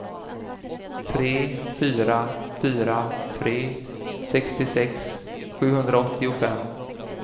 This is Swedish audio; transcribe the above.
tre fyra fyra tre sextiosex sjuhundraåttiofem